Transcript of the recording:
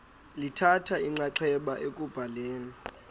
lithatha inxaxheba ekubhaleni